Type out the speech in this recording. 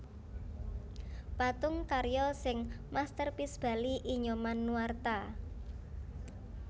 Patung karya sing masterpiece Bali I Nyoman Nuarta